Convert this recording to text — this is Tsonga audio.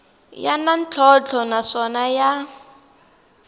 ya na ntlhontlho naswona ya